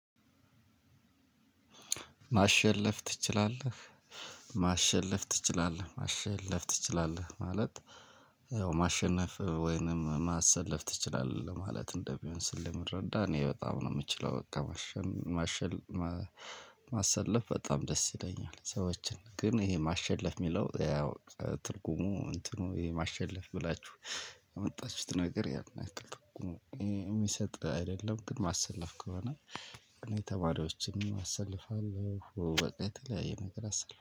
ማሸለፍ ትችላለህ? ማሸለፍ ትችላለህ ማሸለፍ ትችላለህ ማለት ያው ማሸነፍ ወይንም ማሰለፍ ትችላለህ ለማለት እንደሚሆን ስለምረዳ እኔ በጣም ነው የምችለው በቃ። ማሰለፍ በጣም ደስ ይለኛል። ሰዎችን ግን ይሄ ማሸለፍ የሚለው ያው ትርጉሙ እንትኑ የማሸለፍ ብላቺሁ ያመጣችሁት ነገር ያን ያክል ትርጉም እሚሰጥ አይደለም። ማሰለፍ ከሆነ እኔ ተማሪዎችንም አሰልፋለሁ የተለያዩ ነገር አሰልፋልሁ